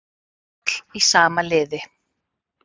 Öll í sama liði